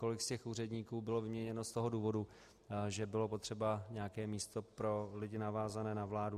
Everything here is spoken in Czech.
Kolik z těch úředníků bylo vyměněno z toho důvodu, že bylo potřeba nějaké místo pro lidi, navázané na vládu.